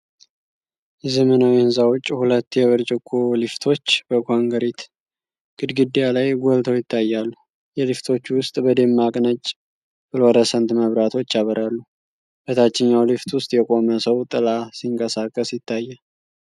የዘመናዊ ህንፃ ውጭ ሁለት የብርጭቆ ሊፍቶች በኮንክሪት ግድግዳ ላይ ጎልተው ይታያሉ። የሊፍቶቹ ውስጥ በደማቅ ነጭ ፍሎረሰንት መብራቶች ያበራሉ። በታችኛው ሊፍት ውስጥ የቆመ ሰው ጥላ ሲንቀሳቀስ ይታያል።